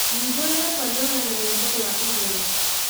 hingũrĩra pandora na rwĩmbo rwa igũrũ